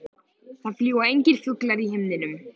Það fljúga engir fuglar í himninum.